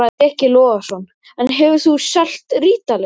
Breki Logason: En hefur þú selt rítalín?